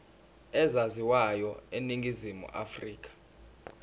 ezaziwayo eningizimu afrika